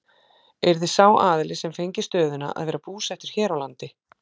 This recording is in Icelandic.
Yrði sá aðili sem fengi stöðuna að vera búsettur hér á landi?